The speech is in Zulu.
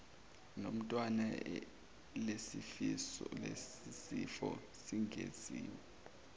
nomntwana lesisifo singesinye